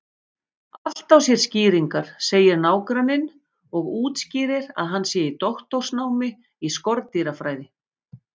Allt á sér skýringar, segir nágranninn og útskýrir að hann sé í doktorsnámi í skordýrafræði.